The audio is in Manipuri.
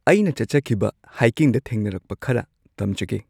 ꯑꯩꯅ ꯆꯠꯆꯈꯤꯕ ꯍꯥꯏꯀꯤꯡꯗ ꯊꯦꯡꯅꯔꯛꯄ ꯈꯔ ꯇꯝꯖꯒꯦ꯫